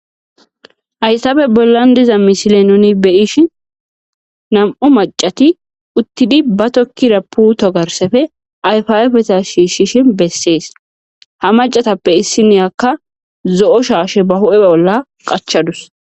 Hayssabe bollan diza misile nuni beyishi nam7u macati uttidi ba tokkira puto garsefe ayfaafeta shiishshishin bessees ha macatappe issiniyakka zo7o shaashe ba hu7e bolla qachadus.